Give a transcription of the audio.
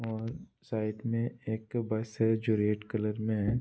और साइड में एक बस है जो रेड कलर में है।